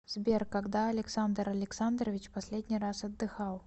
сбер когда александр александрович последний раз отдыхал